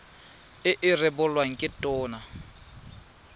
e e rebolwang ke tona